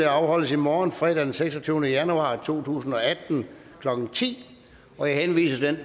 afholdes i morgen fredag den seksogtyvende januar to tusind og atten klokken ti jeg henviser til